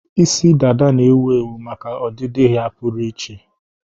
Isi dada na-ewu ewu maka ọdịdị ya pụrụ iche.